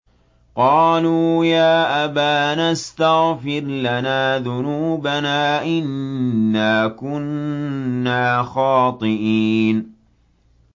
قَالُوا يَا أَبَانَا اسْتَغْفِرْ لَنَا ذُنُوبَنَا إِنَّا كُنَّا خَاطِئِينَ